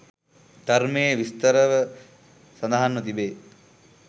ධර්මයේ විස්තරව සඳහන්ව තිබේ.